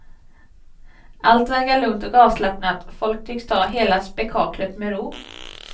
Allt verkar lugnt och avslappnat, folk tycks ta hela spekaklet med ro.